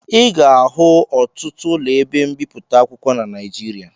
Ị ga-ahụ ọtụtụ ụlọ ebe mbipụta akwụkwọ na Naịjirịa